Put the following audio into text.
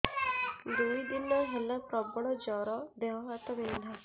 ଦୁଇ ଦିନ ହେଲା ପ୍ରବଳ ଜର ଦେହ ହାତ ବିନ୍ଧା